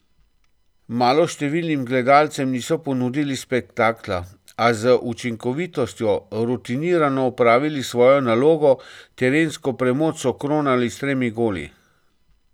Maloštevilnim gledalcem niso ponudili spektakla, a z učinkovitostjo rutinirano opravili svojo nalogo, terensko premoč so kronali s tremi goli.